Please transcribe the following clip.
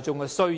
眾的需要。